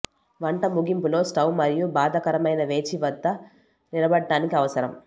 వంట ముగింపులో స్టవ్ మరియు బాధాకరమైన వేచి వద్ద నిలబడటానికి అవసరం